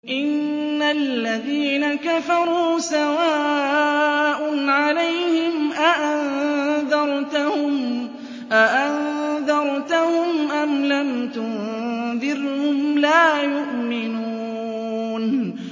إِنَّ الَّذِينَ كَفَرُوا سَوَاءٌ عَلَيْهِمْ أَأَنذَرْتَهُمْ أَمْ لَمْ تُنذِرْهُمْ لَا يُؤْمِنُونَ